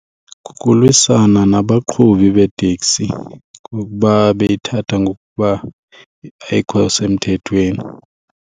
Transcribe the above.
Kukulwisana nabaqhubi beeteksi ngokuba beyithatha ngokuba ayikho semthethweni.